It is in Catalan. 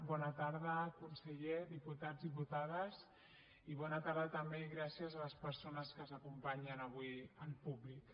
bona tarda conseller diputats diputades i bona tarda també i gràcies a les persones que ens acompanyen avui al públic